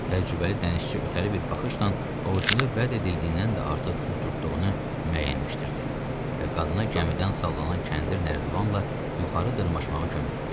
Təcrübəli dənizçi ötəri bir baxışla ovucunda vəd ediləndən də artıq pul tutduğunu müəyyənləşdirdi və qadına gəmidən sallanan kəndir nərdivanla yuxarı dırmaşmağa kömək etdi.